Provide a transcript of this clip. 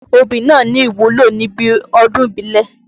Obì náà ní ìwúlò níbi ọdún ìbílẹ̀.